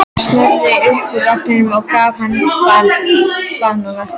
Snorra upp úr vagninum og gaf honum banana.